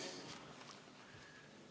Fraktsioonidel selleks soovi ei ole.